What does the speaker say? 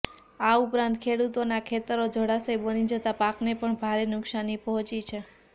આ ઉપરાંત ખેડૂતોના ખેતરો જળાશય બની જતા પાકને પણ ભારે નુકશાની પહોંચી છે